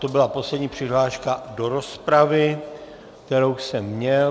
To byla poslední přihláška do rozpravy, kterou jsem měl.